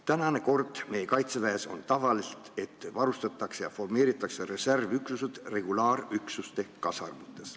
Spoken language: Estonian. Tavaline kord meie Kaitseväes on see, et reservüksused varustatakse ja formeeritakse regulaarüksuste kasarmutes.